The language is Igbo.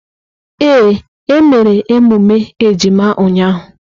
Ee, e mere emume ejima ụnyahụ.